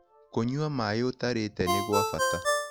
Kũnyua maĩĩ ũtarĩte nĩ gwa bata